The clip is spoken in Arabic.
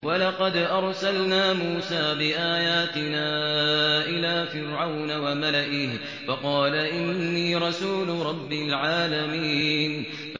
وَلَقَدْ أَرْسَلْنَا مُوسَىٰ بِآيَاتِنَا إِلَىٰ فِرْعَوْنَ وَمَلَئِهِ فَقَالَ إِنِّي رَسُولُ رَبِّ الْعَالَمِينَ